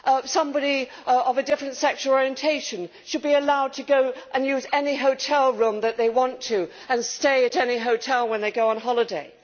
Somebody of a different sexual orientation should be allowed to use any hotel room that they want to, and stay at any hotel when they go on holiday.